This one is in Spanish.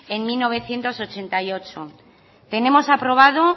en mil novecientos ochenta y ocho tenemos aprobado